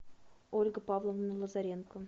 ольга павловна лазаренко